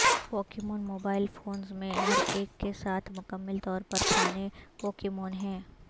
Pokémon mobile phones میں ہر ایک کے ساتھ مکمل طور پر کھانے پوکیمون ہے